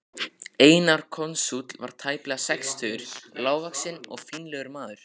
Einar konsúll var tæplega sextugur, lágvaxinn og fínlegur maður.